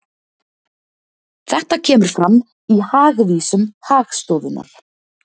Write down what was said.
Þetta kemur fram í Hagvísum Hagstofunnar